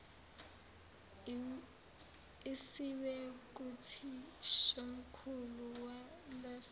isiwe kuthishomkhulu waleso